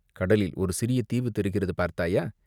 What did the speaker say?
கடலில் ஒரு சிறிய தீவு தெரிகிறது பார்த்தாயா?